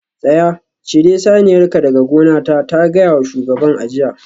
Tsaya! cire saniyarka daga gonata ta gaya wa shugaban a jiya